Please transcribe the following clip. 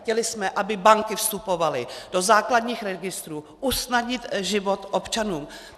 Chtěli jsme, aby banky vstupovaly do základních registrů, usnadnit život občanům.